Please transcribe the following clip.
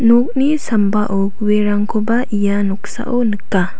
sambao guerangkoba ia noksao nika.